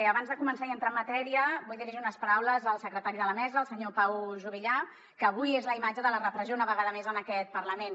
abans de començar i entrar en matèria vull dirigir unes paraules al secretari de la mesa el senyor pau juvillà que avui és la imatge de la repressió una vegada més en aquest parlament